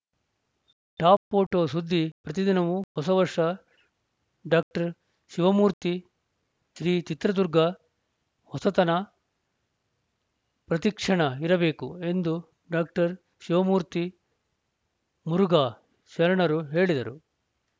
top photo ಸುದ್ದಿ ಪ್ರತಿದಿನವೂ ಹೊಸ ವರ್ಷ ಡಾಕ್ಟರ್ ಶಿವಮೂರ್ತಿ ಶ್ರೀ ಚಿತ್ರದುರ್ಗ ಹೊಸತನ ಪ್ರತಿಕ್ಷಣ ಇರಬೇಕು ಎಂದು ಡಾಕ್ಟರ್ ಶಿವಮೂರ್ತಿ ಮುರುಘಾ ಶರಣರು ಹೇಳಿದರು